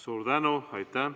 Suur tänu!